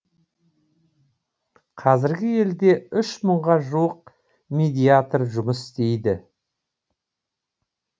қазір елде үш мыңға жуық медиатор жұмыс істейді